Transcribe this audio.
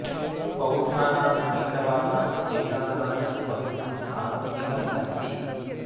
बौद्धानां हैन्दवानां जैनानां च पवित्रं स्थानम् इदम् अस्ति